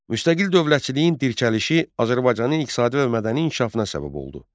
Müstəqil dövlətçiliyin dirçəlişi Azərbaycanın iqtisadi və mədəni inkişafına səbəb oldu.